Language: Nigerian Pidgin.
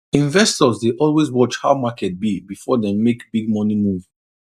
investors dey always watch how market be before dem make big money move